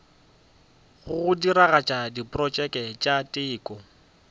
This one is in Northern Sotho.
go diragatša diprotšeke tša teko